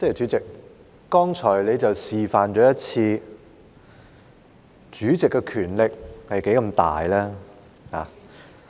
主席，你剛才示範了主席的權力是何其大。